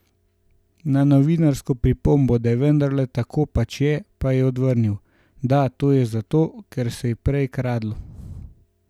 Na novinarsko pripombo, da vendarle tako pač je, pa je odvrnil: "Da, to je zato, ker se je prej kradlo.